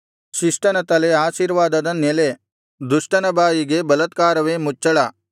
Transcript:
ಶಿಷ್ಟನ ತಲೆ ಆಶೀರ್ವಾದದ ನೆಲೆ ದುಷ್ಟನ ಬಾಯಿಗೆ ಬಲಾತ್ಕಾರವೇ ಮುಚ್ಚಳ